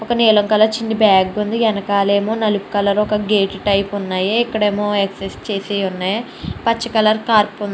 ఒక నీలం కలర్ చిన్ని బ్యాగ్ ఉంది వెనకాలేమో నలుపు కలరు ఒక గేటు టైపు ఉన్నాయి. ఇక్కడేమో ఎక్సెస్ చేసే ఉన్నాయి పచ్చ కలర్ కార్ప్ --